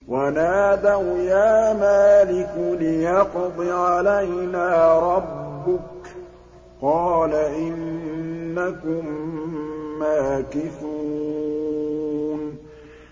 وَنَادَوْا يَا مَالِكُ لِيَقْضِ عَلَيْنَا رَبُّكَ ۖ قَالَ إِنَّكُم مَّاكِثُونَ